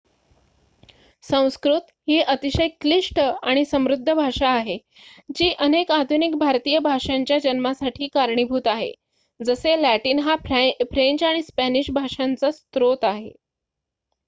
संस्कृत ही अतिशय क्लिष्ट आणि समृद्ध भाषा आहे जी अनेक आधुनिक भारतीय भाषांच्या जन्मासाठी कारणीभूत आहे जसे लॅटिन हा फ्रेंच आणि स्पॅनिश भाषांचा स्रोत आहे